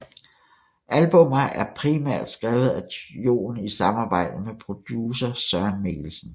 Albummer er primært skrevet af Jon i samarbejde med producer Søren Mikkelsen